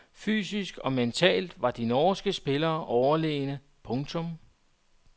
Fysisk og mentalt var de norske spillere overlegne. punktum